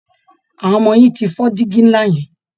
Àwọn ọmọ yín ti fọ́ dígi ńlá yẹn